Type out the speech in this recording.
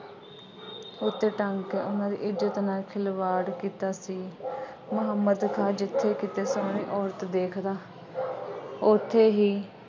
ਉਸਨੇ ਤਾਂ ਕਰਕੇ ਉਹਨਾ ਦੀ ਇੱਜ਼ਤ ਨਾਲ ਖਿਲਵਾੜ ਕੀਤਾ ਸੀ। ਮੁਹੰਮਦ ਖਾਂ ਜਿੱਥੇ ਕਿਤੇ ਸੋਹਣੀ ਔਰਤ ਦੇਖਦਾ ਉੱਥੇ ਹੀ